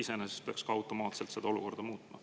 See iseenesest peaks automaatselt seda olukorda muutma.